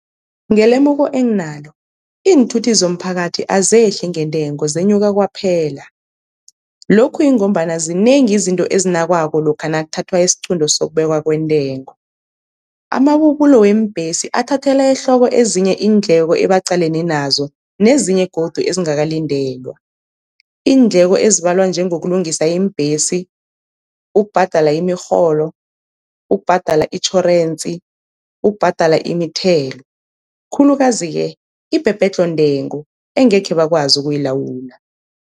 Ngelemuko enginalo iinthuthi zomphakathi azehli ngentengo zenyuka kwaphela, lokhu yingombana zinengi izinto ezinakwako lokha nakuthathwa isiqunto sokubekwa kwentengo. Amabubulo weembhesi athathelwa ehloko ezinye iindleko ebaqalene nazo nezinye godu ezingakalindelwa, iindleko ezibalwa njengokulungisa iimbhesi, ukubhadala imirholo, ukubhadela itjhorensi, ukubhadela imithelo, khulukazi-ke ibhebhedlho-ntengo engekhe bakwazi ukuyilawula.